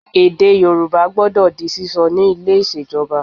Èdè Yorùbá gbọdọ di sísọ ni ilé ìṣèjọba